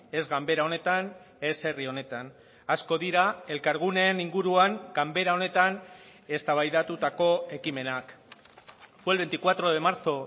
ez ganbera honetan ez herri honetan asko dira elkarguneen inguruan ganbera honetan eztabaidatutako ekimenak fue el veinticuatro de marzo